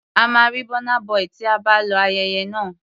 A máa rí Burna Boy tí a bá lọ ayẹyẹ náà.